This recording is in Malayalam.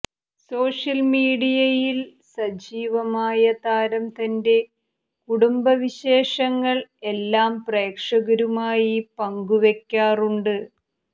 സോഷ്യൽ മീഡിയയിൽ സജീവമായ താരം തന്റെ കുടുംബവിശേഷങ്ങൾ എല്ലാം പ്രേക്ഷകരുമായി പങ്കുവെക്കാറുണ്ട്